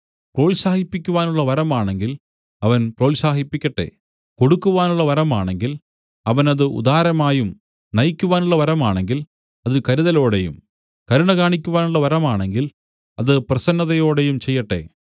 പ്രോത്സാഹിപ്പിക്കാനുള്ള വരമാണെങ്കിൽ അവൻ പ്രോത്സാഹിപ്പിക്കട്ടെ കൊടുക്കുവാനുള്ള വരമാണെങ്കിൽ അവൻ അത് ഉദാരമായും നയിക്കുവാനുള്ള വരമാണെങ്കിൽ അത് കരുതലോടെയും കരുണകാണിക്കുവാനുള്ള വരമാണെങ്കിൽ അത് പ്രസന്നതയോടെയും ചെയ്യട്ടെ